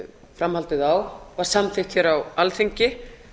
framhaldið á var samþykkt hér á alþingi